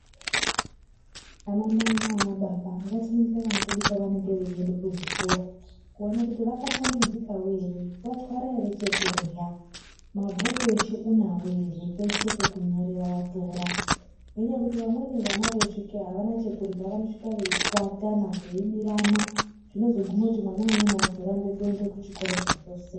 Ana mai nana baba ngati ningire vana vedu pa vanenge vei ende ku zvikora kuona kuti vaka shambidzikawo ere vatwara ere chekurya mabhuku eshe unawo ere peshe peku nyorera watora nenya yekuti vamweni vana vei svikeyo avana chekurya vano svika vei chwatana vanhu veibirana zvinozo guma kuti mwana umweni azorambe kuende ku chikora zvachose.